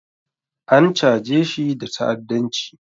An chajeshi da ta'adanci